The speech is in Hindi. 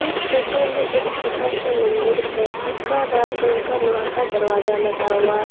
इस फोटो में एक छोटा सा मंदिर है जिसका लाल कलर का लोहा का दरवाजा लगा हुआ है।